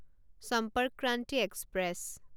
সম্পৰ্ক ক্ৰান্তি এক্সপ্ৰেছ